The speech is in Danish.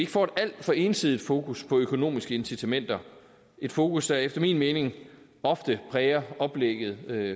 får et alt for ensidigt fokus på økonomiske incitamenter et fokus der efter min mening ofte præger oplægget